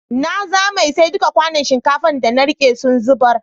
Na zame, sai dukan kwanun shinkafa da na rike sun zubar.